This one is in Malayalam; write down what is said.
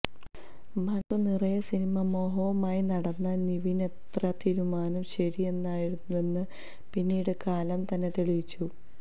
മനസ്സു നിറയെ സിനിമാമോഹവുമായി നടന്ന നിവിന്രെ തീരുമാനം ശരിയായിരുന്നുവെന്ന് പിന്നീട് കാലം തന്നെ തെളിയിച്ചു